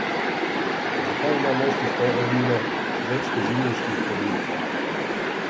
Zakaj ima moški spol ednine več tožilniških oblik?